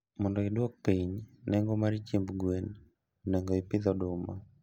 Mondo iduok piny nengo chiemb gwen, onego ipidh oduma